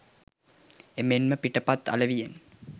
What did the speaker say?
එමෙන්ම පිටපත් අලෙවියෙන්